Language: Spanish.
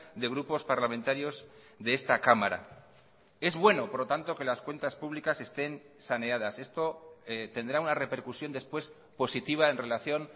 de grupos parlamentarios de esta cámara es bueno por lo tanto que las cuentas públicas estén saneadas esto tendrá una repercusión después positiva en relación